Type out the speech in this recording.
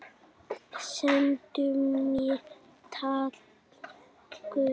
Sendu mér tákn guð.